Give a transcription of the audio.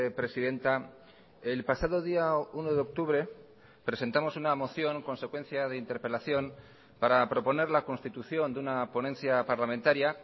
presidenta el pasado día uno de octubre presentamos una moción consecuencia de interpelación para proponer la constitución de una ponencia parlamentaria